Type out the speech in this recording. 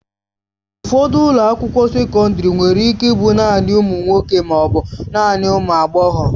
Ụfọdụ ụlọ akwụkwọ sekọndrị nwere ike ịbụ naanị ụmụ nwoke ma ọ bụ naanị ụmụ agbọghọ.